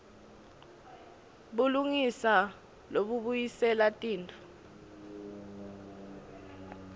bulungisa lobubuyisela tintfo